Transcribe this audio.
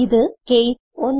ഇത് കേസ് 1